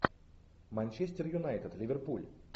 манчестер юнайтед ливерпуль